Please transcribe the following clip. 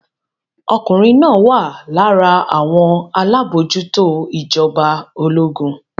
Ọkùnrin náà wà lára àwọn alábòójútó ìjọba ológun.